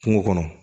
Kungo kɔnɔ